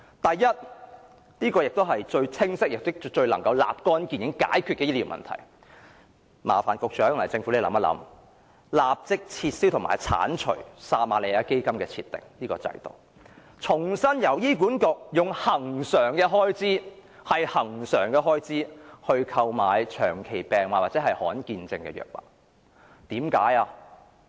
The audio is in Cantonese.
首先，最清晰並能立竿見影地解決醫療問題的做法是，麻煩局長及政府當局考慮立即撤銷撤瑪利亞基金制度，重新由醫院管理局利用其恆常開支承擔長期病患或罕見病症患者的藥物支出。